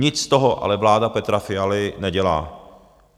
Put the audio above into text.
Nic z toho ale vláda Petra Fialy nedělá.